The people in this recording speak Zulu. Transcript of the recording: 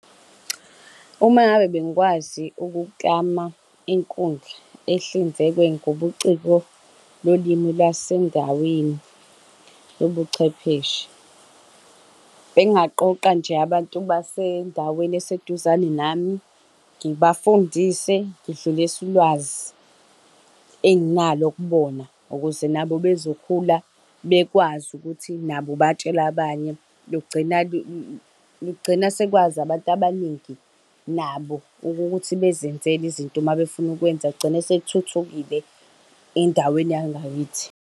Uma ngabe bengikwazi ukuklama inkundla, ehlinzekwe ngobuciko bolimi lwasendaweni lobuchwepheshe. Bengingaqoqa nje abantu basendaweni eseduzane nami, ngibafundise, ngidlulise ulwazi enginalo kubona, ukuze nabo bezokhula bekwazi ukuthi nabo batshele abanye. Lugcina , lugcina sekwazi abantu abaningi, nabo ukuthi bezenzele izinto uma befuna ukwenza, kugcine sekuthuthukile endaweni yangakithi.